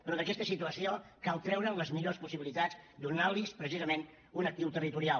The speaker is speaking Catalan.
però d’aquesta situació cal treure’n les millors possibilitats i donar los precisament un actiu territorial